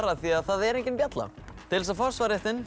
af því það er engin bjalla til þess að fá